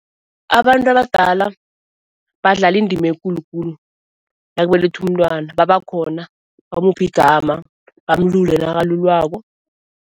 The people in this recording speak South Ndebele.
Abantu abadala badlala indima ekulu khulu, nakubelethwa umntwana babakhona bamuphe igama, bamulule nakalulwako.